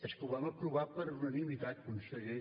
és que ho vam aprovar per unanimitat conseller